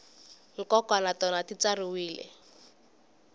nkoka na tona ti tsariwile